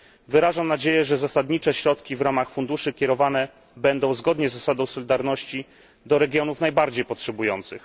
Wyrażam nadzieję, że zasadnicze środki w ramach funduszy kierowane będą, zgodnie z zasadą solidarności, do regionów najbardziej potrzebujących.